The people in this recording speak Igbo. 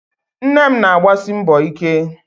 Nne m na-agbasi mbọ ike